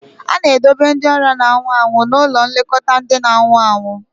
A na-edobe ndị ọrịa na-anwụ anwụ n'ụlọ nlekọta ndị na-anwụ anwụ